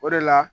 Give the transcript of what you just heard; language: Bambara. O de la